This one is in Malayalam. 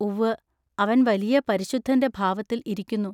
ഉവ്വ അവൻ വലിയ പരിശുദ്ധന്റെ ഭാവത്തിൽ ഇരിക്കുന്നു.